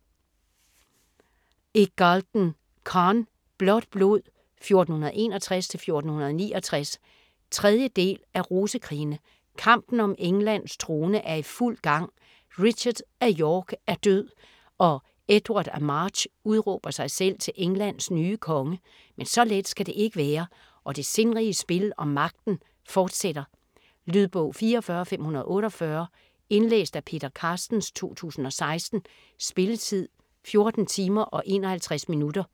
Iggulden, Conn: Blåt blod: 1461-1469 3. del af Rosekrigene. Kampen om Englands trone er i fuld gang. Richard af York er død, og Edward af March udråber sig selv til Englands nye konge. Men så let skal det ikke være, og det sindrige spil om magten fortsætter. Lydbog 44548 Indlæst af Peter Carstens, 2016. Spilletid: 14 timer, 51 minutter.